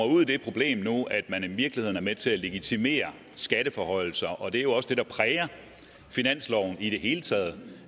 ud i det problem at man i virkeligheden er med til at legitimere skatteforhøjelser og det er jo også det der præger finansloven i det hele taget